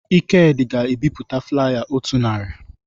Ikedị ga-ebipụta flaya otu narị